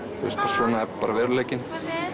svona er bara veruleikinn